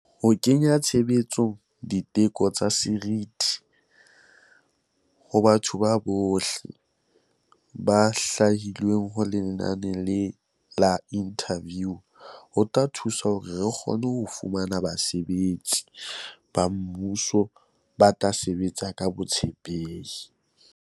Ho kenya tshebetsong di teko tsa seriti ho batho bohle ba hlwahilweng ho lenane la diinthaviu ho tla thusa hore re kgone ho fumana basebetsi ba mmuso ba tla sebetsa ka botshepehi.